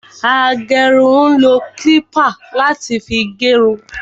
Agérun ń lo kílípà láti fi gé irun